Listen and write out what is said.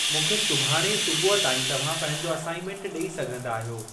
मूंखे सुभाणे सुबुह ताईं तव्हां पंहिंजो असाइन्मेंट ॾेई सघंदा आहियो।